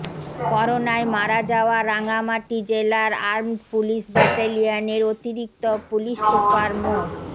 করোনায় মারা যাওয়া রাঙ্গামাটি জেলার আর্মড পুলিশ ব্যাটালিয়নের অতিরিক্ত পুলিশ সুপার মো